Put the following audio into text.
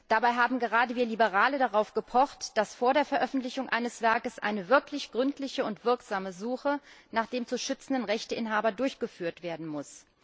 Dabei haben gerade wir Liberale darauf gepocht, dass vor der Veröffentlichung eines Werkes eine wirklich gründliche und wirksame Suche nach dem zu schützenden Rechteinhaber durchgeführt werden muss.